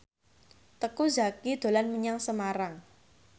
Teuku Zacky dolan menyang Semarang